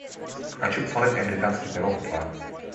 хочу посмотреть американский пирог два